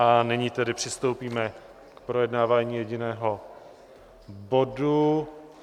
A nyní tedy přistoupíme k projednávání jediného bodu.